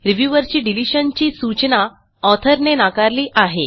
reviewer ची डिलिशनची सूचना ऑथर ने नाकारली आहे